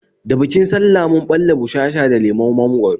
Da bikin sallah mun ɓalla bushasha da lemon mangwaro